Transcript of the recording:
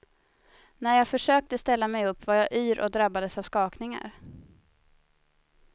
När jag försökte ställa mig upp var jag yr och drabbades av skakningar.